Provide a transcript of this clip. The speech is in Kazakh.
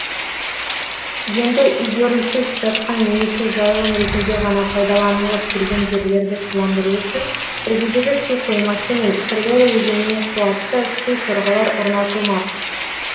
енді игерусіз жатқан немесе жайылым ретінде ғана пайдаланылып келген жерлерді суландыру үшін іргедегі су қоймасы мен сырдария өзеніне қуатты су сорғылар орнатылмақ